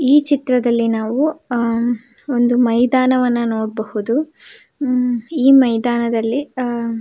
ಈ ಚಿತ್ರದಲ್ಲಿ ನಾವು ಒಂದು ಮೈದಾನವನ್ನು ನೋಡಬಹುದು ಹಮ್ ಈ ಮೈದಾನದಲ್ಲಿ ಆ --